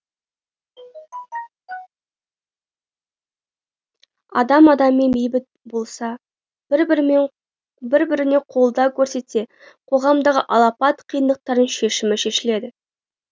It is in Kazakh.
адам адаммен бейбіт болса бір біріне қолдау көрсетсе қоғамдағы алапат қиындықтардың шешімі шешіледі